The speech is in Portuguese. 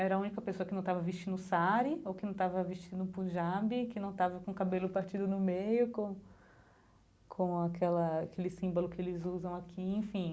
Era a única pessoa que não estava vestindo sari, ou que não estava vestindo punjab, que não estava com o cabelo partido no meio, com com aquela aquele símbolo que eles usam aqui, enfim.